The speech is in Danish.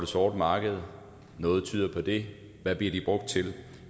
sorte marked noget tyder på det hvad bliver de brugt til